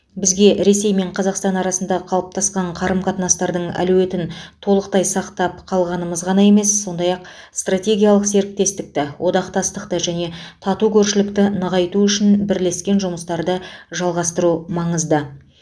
бізге ресей мен қазақстан арасындағы қалыптасқан қарым қатынастардың әлеуетін толықтай сақтап қалғанымыз ғана емес сондай ақ стратегиялық серіктестікті одақтастықты және тату көршілікті нығайту үшін бірлескен жұмыстарды жалғастыру маңызды